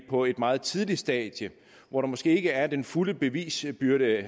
på et meget tidligt stadium hvor der måske ikke er den fulde bevisbyrde